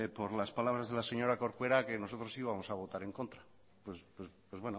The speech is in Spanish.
por las palabras de la señora corcuera que nosotros íbamos a votar en contra pues